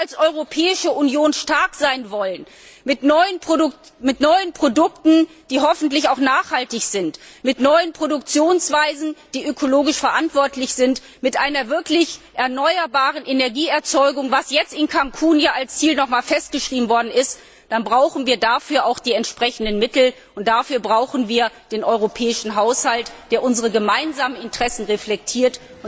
Wenn wir als Europäische Union stark sein wollen mit neuen Produkten, die hoffentlich auch nachhaltig sind, mit neuen Produktionsweisen, die ökologisch verantwortlich sind, mit einer Energieerzeugung, die wirklich auf erneuerbaren Energiequellen basiert, was jetzt in Cancún noch einmal als Ziel festgeschrieben wurde, dann brauchen wir dafür auch die entsprechenden Mittel, und dafür brauchen wir den europäischen Haushalt, der unsere gemeinsamen Interessen reflektiert.